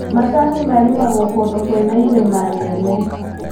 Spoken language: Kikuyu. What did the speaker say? Macani marĩmagwo kũndũ kwĩna irĩma nene.